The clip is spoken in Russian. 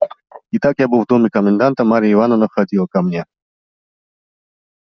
итак я был в доме коменданта марья ивановна входила ко мне